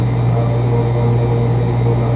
पर आप तो नौजवान नहीं हैं धनी बोला